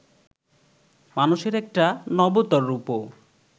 মানুষের একটা নবতর রূপও